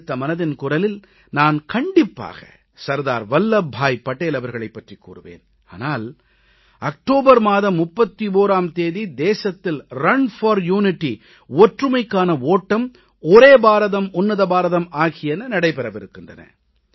அடுத்த மனதின் குரலில் நான் கண்டிப்பாக சர்தார் வல்லபபாய் படேல் அவர்களைப் பற்றிக் கூறுவேன் ஆனால் அக்டோபர் மாதம் 31ஆம் தேதி தேசத்தில் ஒற்றுமைக்கான ஓட்டம் ஒன்றுபட்ட பாரதம் ஒப்பற்ற பாரதம் ஆகியன நடைபெறவிருக்கின்றன